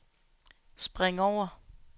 spring over